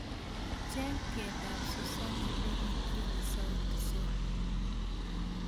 Cheng' tiendap susanna ne kitieni Sauti Sol